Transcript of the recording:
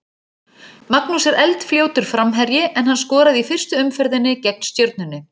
Magnús er eldfljótur framherji en hann skoraði í fyrstu umferðinni gegn Stjörnunni.